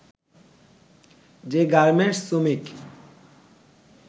যে গার্মেন্টস শ্রমিক